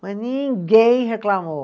Mas ninguém reclamou.